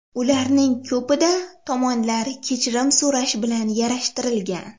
Ularning ko‘pida tomonlar kechirim so‘rash bilan yarashtirilgan.